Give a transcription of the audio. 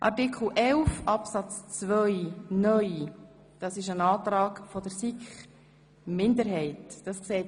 Ich schlage vor, dass wir zuerst Artikel 11 abarbeiten.